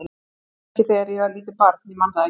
Kannski ekki þegar ég var lítið barn, ég man það ekki.